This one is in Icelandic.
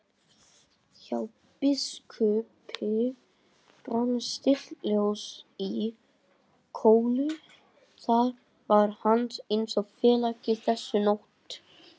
Hjá biskupi brann stillt ljós í kolu, það var hans eini félagi þessa nótt.